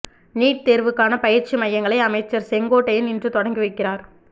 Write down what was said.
NEET தேர்வுக்கான பயிற்சி மையங்களை அமைச்சர் செங்கோட்டையன் இன்று தொடங்கி வைக்கிறார்